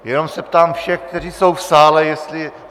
Jenom se ptám všech, kteří jsou v sále, jestli...